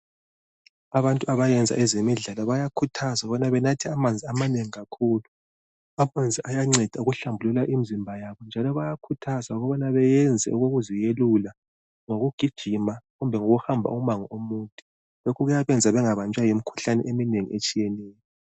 Abantu abayenza ezemidlalo bayakhuthazwa ukubana benathe amanzi amanengi kakhulu, amanzi ayanceda ukuhlambulula imizimba yabo, njalo bayakhuthazwa ukubana beyenze ukuziyelula ngokugijima kumbe ukuhamba umango omude. Lokhu kuyabenza bengabanjwa yimikhuhlane eminengi etshiyeneyo.